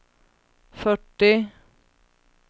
fyrtio